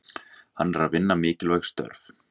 Hann er að vinna mikilvæg störf.